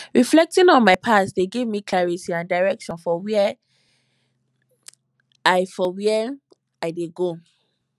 reflecting on my past dey give me clarity and direction for where i for where i dey go